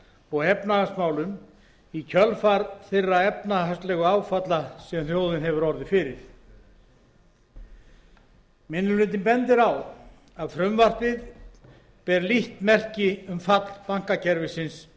og efnahagsmálum í kjölfar þeirra efnahagslegu áfalla sem þjóðin hefur orðið fyrir minni hlutinn bendir á að frumvarpið ber lítt merki um fall bankakerfisins í